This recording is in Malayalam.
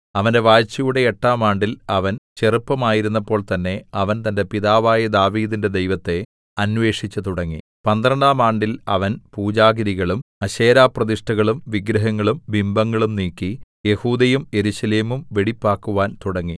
അവന്റെ വാഴ്ചയുടെ എട്ടാം ആണ്ടിൽ അവൻ ചെറുപ്പമായിരുന്നപ്പോൾ തന്നേ അവൻ തന്റെ പിതാവായ ദാവീദിന്റെ ദൈവത്തെ അന്വേഷിച്ചുതുടങ്ങി പന്ത്രണ്ടാം ആണ്ടിൽ അവൻ പൂജാഗിരികളും അശേരാപ്രതിഷ്ഠകളും വിഗ്രഹങ്ങളും ബിംബങ്ങളും നീക്കി യെഹൂദയും യെരൂശലേമും വെടിപ്പാക്കുവാൻ തുടങ്ങി